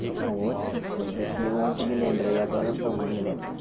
Tinha outra coisa que ontem me lembrei, agora não estou mais me lembrando.